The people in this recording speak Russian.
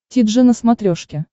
ти джи на смотрешке